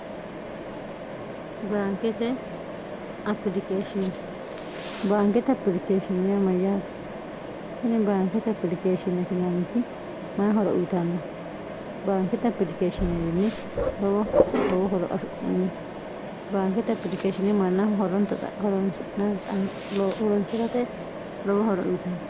baankete iishinbaankete apilikeeshinoyamayyaate tini baankete apilikeeshinetinnniti may horo uyitanno baankete apilikeeshineewinni wowfunni baankete apilikeeshini mannaafa horonsi'rate lowo horo uyitanno